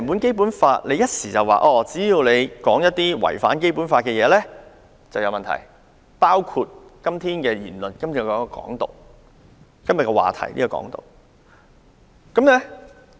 政府一方面表示，只要發表違反《基本法》的言論便有問題，當中包括今天討論涵蓋的"港獨"議題。